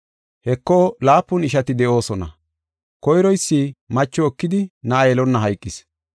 Heko laapun ishati de7oosona. Koyroysi macho ekidi na7a yelonna hayqis.